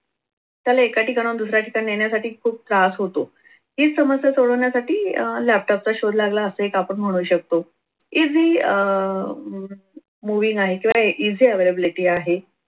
त्याला एका ठिकाणाहून दुसऱ्या ठिकाणी नेण्यासाठी खूप त्रास होतो. ही समस्या सोडवण्यासाठी अह laptop चा शोध लागला अस एक आपण म्हणू शकतो. easy अह movie नाही किंवा easy availability आहे.